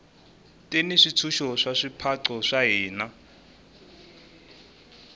ti ni swintshuxo swa swipaqo swa hina